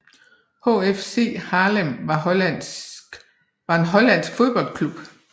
HFC Haarlem var en hollandsk fodboldklub